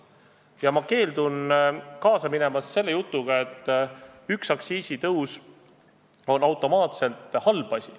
Ja ma keeldun kaasa minemast selle jutuga, et üks aktsiisitõus on automaatselt halb asi.